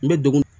N bɛ dogo